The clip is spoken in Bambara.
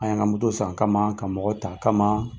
An y'an ka moto san a kama ka mɔgɔ ta a kama